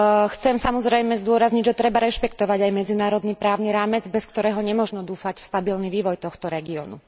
Chcem, samozrejme, zdôrazniť, že treba rešpektovať aj medzinárodný právny rámec, bez ktorého nemožno dúfať v stabilný vývoj tohto regiónu.